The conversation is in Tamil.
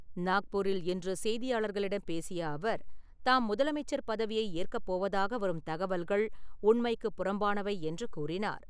நாக்பூரில் இன்று செய்தியாளர்களிடம் பேசிய அவர், தாம் முதலமைச்சர் பதவியை ஏற்கப் போவதாக வரும் தகவல்கள் உண்மைக்குப் புறம்பானவை என்று கூறினார்.